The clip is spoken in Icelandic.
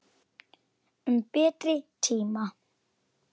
Um betri tíma.